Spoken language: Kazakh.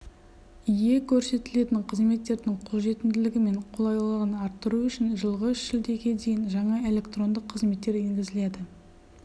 ие көрсетілетін қызметтердің қолжетімділігі мен қолайлылығын арттыру үшін жылғы шілдеге дейін жаңа электрондық қызметтер енгізіледі